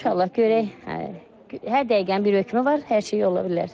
İnşallah görək hər dəqiqənin bir hökmü var, hər şey ola bilər.